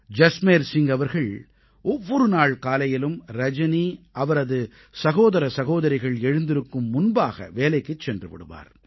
ஜஸ்மேர் சிங் அவர்கள் ஒவ்வொரு நாள் காலையிலும் ரஜனி அவரது சகோதர சகோதரிகள் எழுந்திருக்கும் முன்பாக வேலைக்குச் சென்று விடுவார்